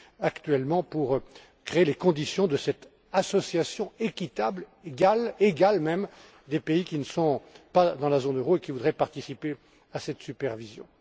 actuellement pour créer les conditions de cette association équitable, voire égale, des pays qui ne sont pas dans la zone euro et qui voudraient participer à cette supervision.